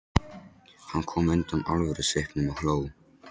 Hann kom undan alvörusvipnum og hló.